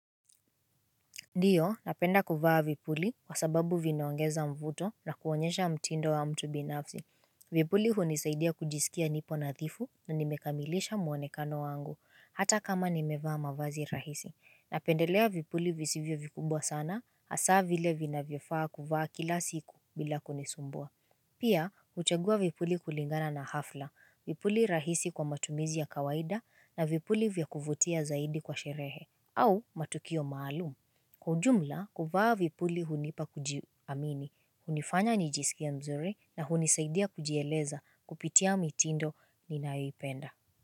Ndiyo, napenda kufaa vipuli kwa sababu vinaongeza mvuto na kuonyesha mtindo wa mtu binafsi. Vipuli hunisaidia kujisikia nipo nadhifu na nimekamilisha muonekano wangu, hata kama nimevaa mavazi rahisi. Napendelea vipuli visivyo vikubwa sana, hasa vile vinavyofaa kuvaa kila siku bila kunisumbua. Pia, huchagua vipuli kulingana na hafla, vipuli rahisi kwa matumizi ya kawaida na vipuli vya kuvutia zaidi kwa sherehe au matukio maalumu. Kwa ujumla, kuvaa vipuli hunipa kujiamini, hunifanya nijisikie mzuri na hunisaidia kujieleza kupitia mitindo ninaipenda.